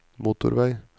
motorvei